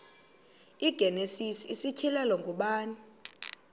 igenesis isityhilelo ngubani